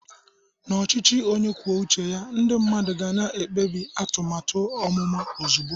Na ọchịchị onye kwuo uche ya, ndị mmadụ ga-ekpebi atụmatụ amụma ozugbo.